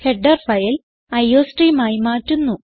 header file iostream ആയി മാറ്റുന്നു